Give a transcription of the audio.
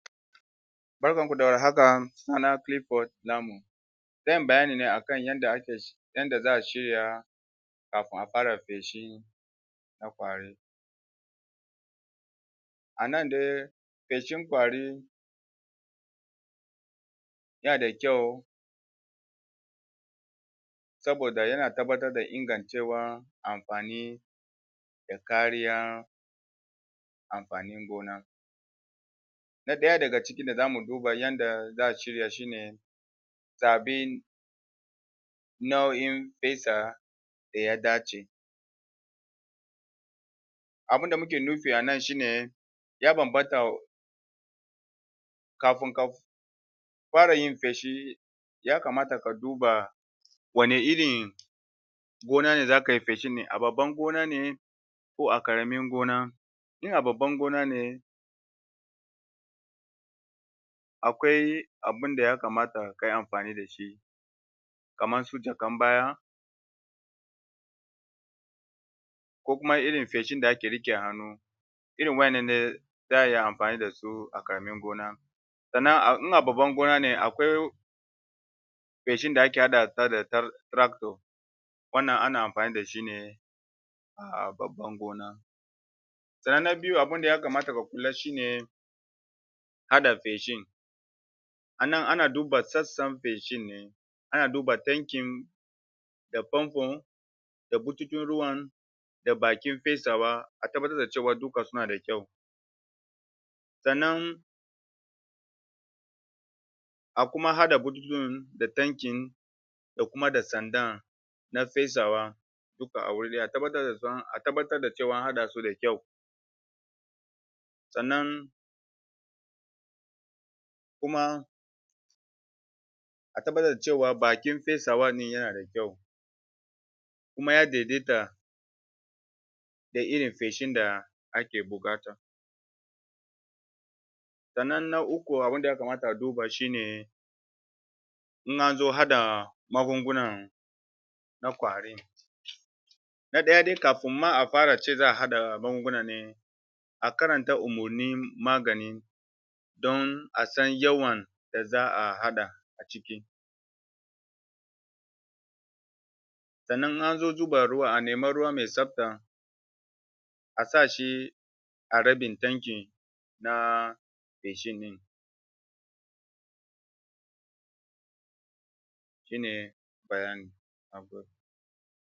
Barkan ku da warhaka suna na Clifford Lamu zan yi bayani ne akan yada ake yanda za a shirya kafin a fara feshi na kwari wannan dai feshin kwari da kyau saboda ya na tabatar da ingancewan amfani da kariyan amfanin gona na daya da ga cikin, da za mu duba yada za a shirya shi ne zabin nauyin fesa da ya dace abun da muke nufi a nan shi ne ya bambanta kafin ka fara yin fesi ya kamata ka duba wanne irin gona ne za ka yi fesi ne, a babban gona ne ko a karamin gona in a babban gona ne akwai abin da ya kamata ka yi amfani da shi kaman su jakkan baya ko kuma irin feshin da ake rike a hannu irin wadannan ne za a yi amfani da su a karamin gona sannan in a babban gona ne, akwai fesin da ake hada ta da tractor wannan ana amfani da shi ne a babban gona sannan na biyu, abun da ya kamata ka kula shi ne hada feshin a nan, a na duba sassan feshin ne ana duba tankin da pompon da botikin ruwan da bakin fesawa a tabatar da cewa duka su na da kyau sannan kuma har da botutukan da tankin da kuma da sandan na fesawan duka a wuri daya, a tabatar da, a tabatar da cewa a hada su da kyau a tabatar da cewa, bakin fesawa ne ya na da kyau kuma ya daidaita da irin feshin da ake bukata na uku, abun da ya kamata a duba shi ne in an zo hada magunfunan na kwarin na daya dai, kafin ma a fara ce za a hada magunguna ne a karanta umurnin magani dan a san yawan da za a hada a ciki sanna in an zo duban ruwa, a nima ruwa mai tsapta a sa shi a rabin tankin na feshi din shi ne bayanin, na gode